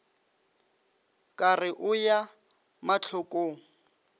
ka re o ya mahlokong